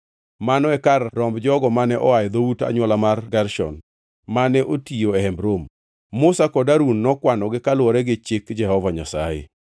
Mano e kar romb jogo mane oa e dhout anywola mar Gershon mane otiyo e Hemb Romo. Musa kod Harun nokwanogi kaluwore gi chik Jehova Nyasaye.